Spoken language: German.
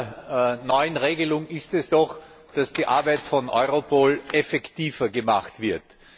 Ziel dieser neuen Regelung ist es doch, dass die Arbeit von Europol effektiver gemacht wird.